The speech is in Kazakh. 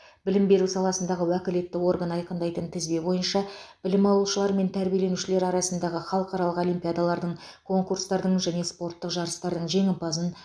білім беру саласындағы уәкілетті орган айқындайтын тізбе бойынша білім алушылар мен тәрбиеленушілер арасындағы халықаралық олимпиадалардың конкурстардың және спорттық жарыстардың жеңімпазын